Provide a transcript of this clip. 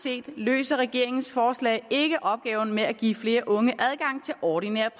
set løser regeringens forslag ikke opgaven med at give flere unge adgang til ordinær